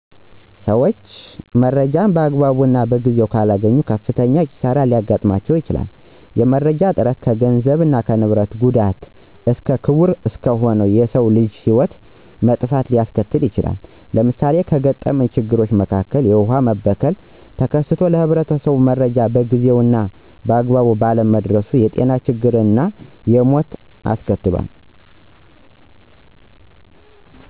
ሠዎች መረጃን በአግባቡ እና በጊዜው ካላገኙ ከፍተኛ ኪሳሪ ሊያጋጥም ይችላል። የመረጃ እጥረት ከገንዘብ እና ንብረት ጉዳት እስከ ክቡር እስከሆነው የሰው ልጅ ህይወት መጥፋት ሊያስከትል ይችላል። ለምሳሌ ከገጠመኝ ችግር መካከል የውሃ መበከል ተከስቶ ለህብረተሰቡ መረጃው በጊዜው እና በአግባቡ ባለመድረሱ የጤና ችግር እና ሞት አስከትሏል።